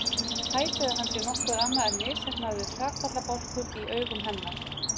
Hæpið að hann sé nokkuð annað en misheppnaður hrakfallabálkur í augum hennar.